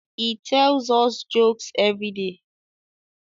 he tells us jokes everyday